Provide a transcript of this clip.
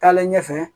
Taalen ɲɛfɛ